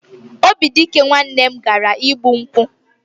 Obidike nwanne m nwoke gara igbu nkwụ.